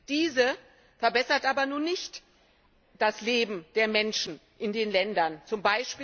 Diese verbessert aber nicht das Leben der Menschen in den Ländern